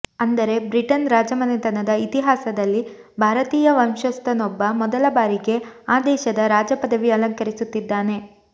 ಅಂದರೆ ಬ್ರಿಟನ್ ರಾಜಮನೆತನದ ಇತಿಹಾಸದಲ್ಲಿ ಭಾರತೀಯ ವಂಶಸ್ಥನೊಬ್ಬ ಮೊದಲ ಬಾರಿಗೆ ಆ ದೇಶದ ರಾಜ ಪದವಿ ಅಲಂಕರಿಸುತ್ತಿದ್ದಾನೆ